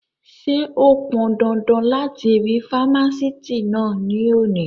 Ṣé ó pọndandan láti rí fámásìtì náà ní òní?